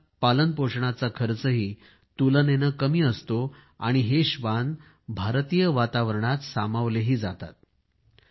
यांच्या पालनपोषणाचा खर्चही तुलनेने कमी असतो आणि हे श्वान भारतीय वातावरणात सामावलेही जातात